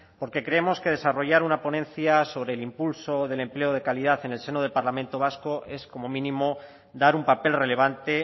porque creemos que desarrollar una ponencia sobre el impulso del empleo de calidad en el seno del parlamento vasco es como mínimo dar un papel relevante